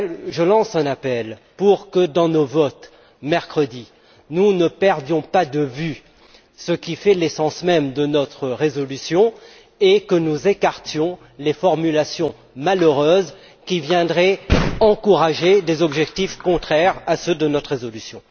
Je lance un appel pour que dans nos votes, mercredi, nous ne perdions pas de vue ce qui fait l'essence même de notre résolution et que nous écartions les formulations malheureuses qui viendraient encourager des objectifs contraires à ceux de notre résolution.